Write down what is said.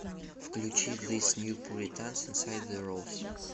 включи зис нью пуританс инсайд зе роуз